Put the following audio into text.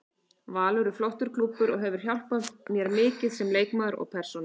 Valur er flottur klúbbur og hefur hjálpað mér mikið sem leikmaður og persónu.